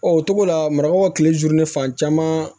o togo la marabagaw ka tile juru ni fan caman